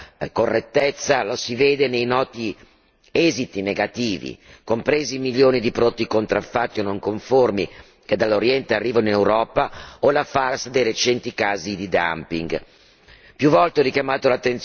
Mancanza di questa correttezza la si vede nei noti esiti negativi, compresi i milioni di prodotti contraffatti o non conformi che dall'Oriente arrivano in Europa o la fase dei recenti casi di dumping.